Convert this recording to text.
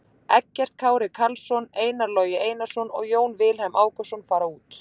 Eggert Kári Karlsson, Einar Logi Einarsson og Jón Vilhelm Ákason fara út.